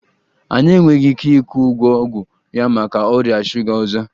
Anyị enweghị ike ịkwụ ụgwọ ọgwụ ya maka ọrịa shuga ọzọ